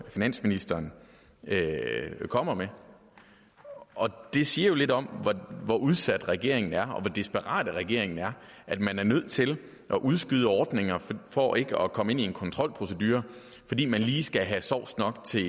finansministeren kommer med og det siger jo lidt om hvor udsat regeringen er og hvor desperat regeringen er at man er nødt til at udskyde ordninger for ikke at komme ind i en kontrolprocedure fordi man lige skal have sovs nok til